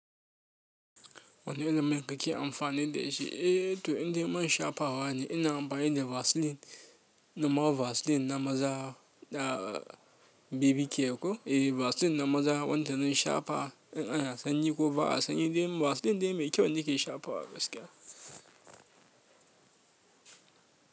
Wani irin mai kake amfani da shi? Eh to, inda man shafawa ne ina amfani da Vaseline, normal Vaseline na maza, baby care ko eh Vaseline na maza. Wanda na shafa in ana sanyi ko ba a sanyi ba, Vaseline dai mai kyau yake shafa gaskiya.